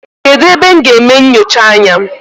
Kedụ ebe m ga-eme nnyocha anya?